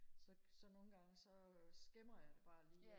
så så nogle gange så skimmer jeg det bare lige